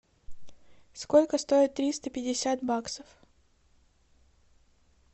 сколько стоит триста пятьдесят баксов